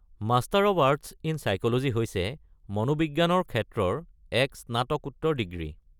Master of arts in psychology হৈছে মনোবিজ্ঞানৰ ক্ষেত্ৰৰ এক স্নাতকোত্তৰ ডিগ্ৰী।